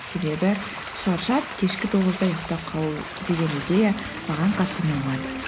себебі шаршап кешкі тоғызда ұйықтап қалу деген идея маған қатты ұнамады